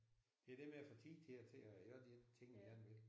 Det er det med at få tid til at til at gøre de ting man gerne vil